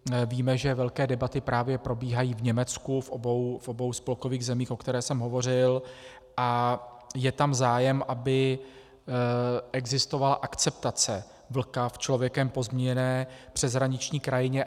Víme, že velké debaty právě probíhají v Německu, v obou spolkových zemích, o kterých jsem hovořil, a je tam zájem, aby existovala akceptace vlka v člověkem pozměněné přeshraniční krajině.